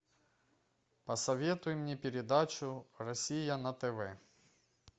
посоветуй мне передачу россия на тв